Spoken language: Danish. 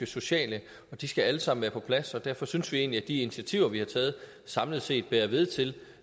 sociale og de skal alle sammen være på plads og derfor synes vi egentlig at de initiativer vi har taget samlet set bærer ved til